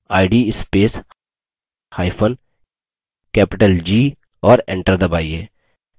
id spacehyphen capital g और enter दबाइए